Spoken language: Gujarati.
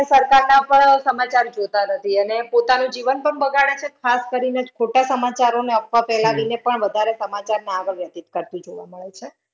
સરકારના પણ સમાચાર જોતા નથી અને પોતાનું જીવન પણ બગાડે છે. ખાસ કરીને જ ખોટા સમાચારો ને અફવા ફેલાવીને પણ વધારે સમાચારને આગળ વ્યતિત કરતી જોવા મળે છે.